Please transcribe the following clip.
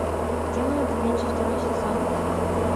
демоны да винчи второй сезон